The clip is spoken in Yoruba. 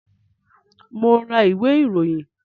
Mo ń ra ìwé ìròyìn